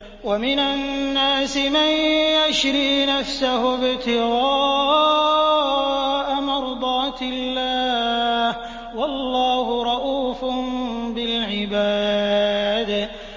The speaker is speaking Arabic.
وَمِنَ النَّاسِ مَن يَشْرِي نَفْسَهُ ابْتِغَاءَ مَرْضَاتِ اللَّهِ ۗ وَاللَّهُ رَءُوفٌ بِالْعِبَادِ